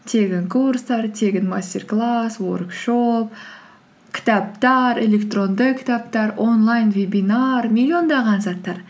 тегін курстар тегін мастер класс уоркшоп кітаптар электронды кітаптар онлайн вебинар миллиондаған заттар